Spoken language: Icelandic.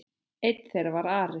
Einn þeirra var Ari.